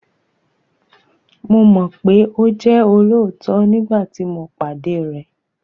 Mo mọ̀ pé ó jẹ́ olóòótọ nígbàtí tí mo pàdé rẹ̀